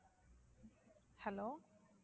Hello